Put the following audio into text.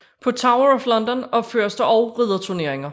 På Tower of London opføres der også ridderturneringer